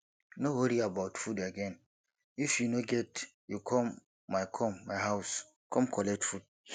no worry about food again if you no get you come my come my house come collect food